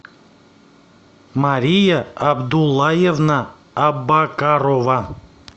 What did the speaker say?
мария абдуллаевна абакарова